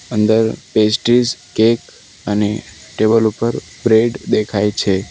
અંદર pastries cake અને table ઉપર બ્રેડ દેખાય છે.